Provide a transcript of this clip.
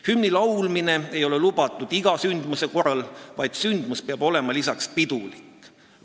Hümni laulmine ei ole lubatud iga sündmuse korral, vaid sündmus peab olema lisaks pidulik.